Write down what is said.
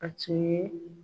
A tun ye